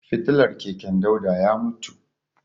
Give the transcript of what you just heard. Fitilar keken Dauda ya mutu.